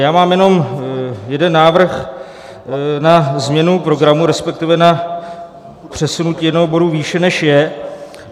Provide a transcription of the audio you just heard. Já mám jenom jeden návrh na změnu programu, respektive na přesunutí jednoho bodu výše než je.